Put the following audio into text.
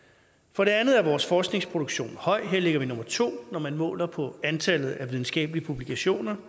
for det andet er vores forskningsproduktion høj her ligger vi som nummer to når man måler på antallet af videnskabelige publikationer